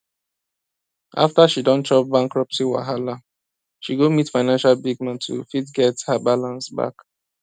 after she don chop bankruptcy wahala she go meet financial big man to fit get her balance back